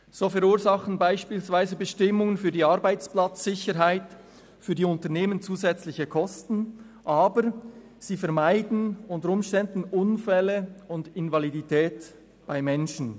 So verursachen beispielsweise Bestimmungen zur Arbeitsplatzsicherheit für die Unternehmen zusätzliche Kosten, aber sie vermeiden unter Umständen Unfälle und Invalidität bei Menschen.